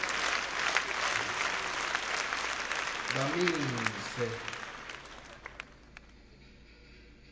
bamise